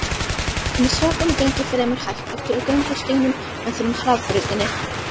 um sökum geng ég fremur hægt eftir göngustígnum meðfram hraðbrautinni.